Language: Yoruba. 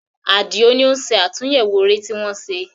Àdìó ní ó ń ṣe àtúnyẹwò eré tí wọ́n ṣe